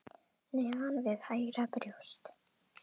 Neðan við hægra brjóst.